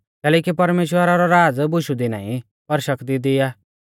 कैलैकि परमेश्‍वरा रौ राज़ बुशु दी नाईं पर शक्ति दी आ